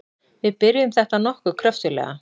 Við byrjuðum þetta nokkuð kröftuglega.